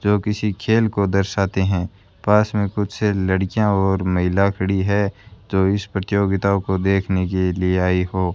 जो किसी खेल को दर्शाते हैं पास में कुछ लड़कियां और महिला खड़ी है जो इस प्रतियोगिता को देखने के लिए आई हो।